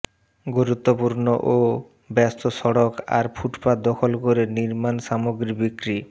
গুরুত্বপূর্ণ ও ব্যস্ত সড়ক আর ফুটপাত দখল করে নির্মাণসামগ্রী বিক্রি